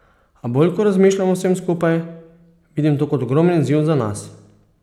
A bolj ko razmišljam o vsem skupaj, vidim to kot ogromen izziv za nas.